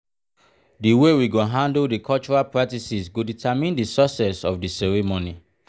the way we go handle di cultural practices go determine di success of the the ceremony.